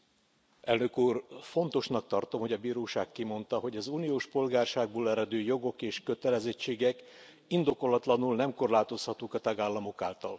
Tisztelt Elnök Úr! Fontosnak tartom, hogy a bíróság kimondta, hogy az uniós polgárságból eredő jogok és kötelezettségek indokolatlanul nem korlátozhatók a tagállamok által.